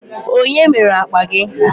Onye mere akpa gi?